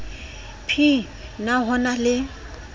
p na ho na le